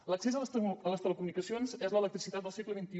l’accés a les telecomunicacions és l’electricitat del segle xxi